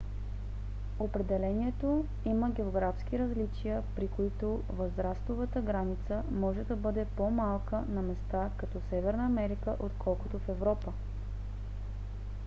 определението има географски различия при които възрастовата граница може да бъде по - малка на места като северна америка отколкото в европа